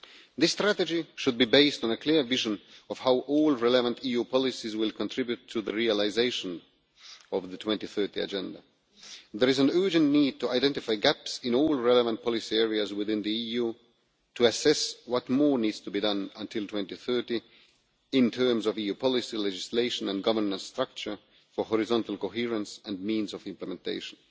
This strategy should be based on a clear vision of how all relevant EU policies will contribute to the realisation of the 2030 Agenda. There is an urgent need to identify gaps in all relevant policy areas within the EU to assess what more needs to be done by 2030 in terms of EU policy legislation and governance structure for horizontal coherence and means of implementation.